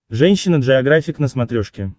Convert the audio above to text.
женщина джеографик на смотрешке